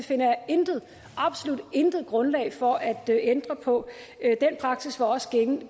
finder jeg intet absolut intet grundlag for at ændre på den praksis var også